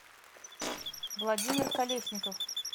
владимир колесников